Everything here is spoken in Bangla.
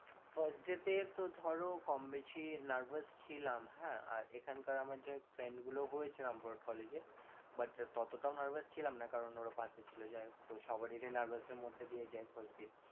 First day তে তো ধরো কম বেশি nervous ছিলাম, হ্যাঁ আর এখানকার আমার যে ওই friend গুলো হয়েছে রামপুরহাট college এ ততটাও nervous ছিলামনা কারণ ওরা পাশে ছিল যাই হোক তো সবারই যদি nervous এর মধ্যে দিয়ে যায় first দিন